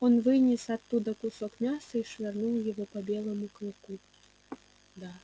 он вынес оттуда кусок мяса и швырнул его по белому клыку да